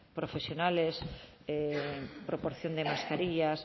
profesionales proporción de mascarillas